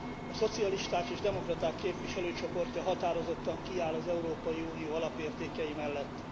A Szocialisták és Demokraták Képviselőcsoportja határozottan kiáll az Európai Unió alapértékei mellett.